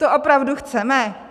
To opravdu chceme?